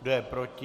Kdo je proti?